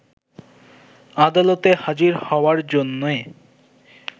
আদালতে হাজির হওয়ার জন্যে